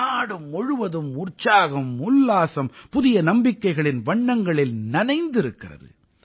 நாடு முழுவதும் உற்சாகம் உல்லாசம் புதிய நம்பிக்கைகளின் வண்ணங்களில் நனைந்திருக்கிறது